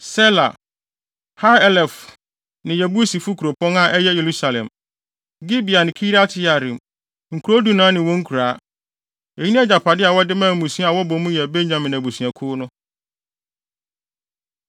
Sela, Ha-Elef ne Yebusifo kuropɔn (a ɛyɛ Yerusalem), Gibea ne Kiriat-Yearim, nkurow dunan ne wɔn nkuraa. Eyi ne agyapade a wɔde maa mmusua a wɔbɔ mu yɛ Benyamin abusuakuw no.